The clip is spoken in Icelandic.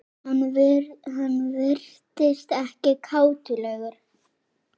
Hann virtist ekkert kátur lengur.